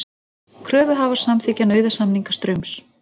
Kröfuhafar samþykkja nauðasamninga Straums